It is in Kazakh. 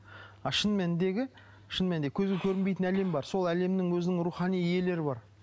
ал шын мәніндегі шын мәнінде көзге көрінбейтін әлем бар сол әлемнің өзінің рухани иелері бар